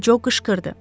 Co qışqırdı.